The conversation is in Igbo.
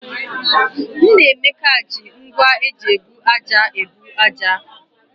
Nnameka ji ngwá eji ebu ájá ebu ájá.